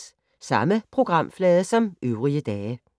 Samme programflade som øvrige dage